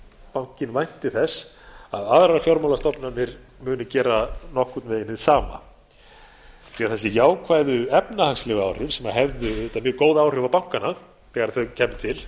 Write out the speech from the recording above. nema bankinn vænti þess að aðrar fjármálastofnanir munu gera nokkurn veginn hið sama því að hin jákvæðu efnahagslegu áhrif sem hefðu auðvitað mjög góð áhrif á bankana þegar þau kæmu til